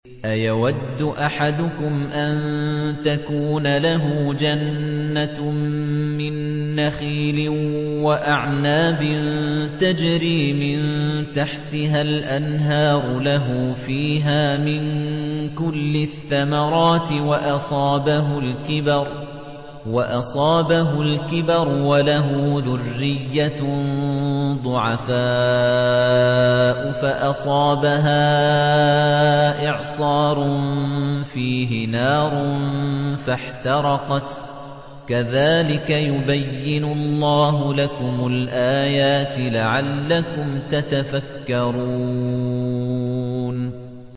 أَيَوَدُّ أَحَدُكُمْ أَن تَكُونَ لَهُ جَنَّةٌ مِّن نَّخِيلٍ وَأَعْنَابٍ تَجْرِي مِن تَحْتِهَا الْأَنْهَارُ لَهُ فِيهَا مِن كُلِّ الثَّمَرَاتِ وَأَصَابَهُ الْكِبَرُ وَلَهُ ذُرِّيَّةٌ ضُعَفَاءُ فَأَصَابَهَا إِعْصَارٌ فِيهِ نَارٌ فَاحْتَرَقَتْ ۗ كَذَٰلِكَ يُبَيِّنُ اللَّهُ لَكُمُ الْآيَاتِ لَعَلَّكُمْ تَتَفَكَّرُونَ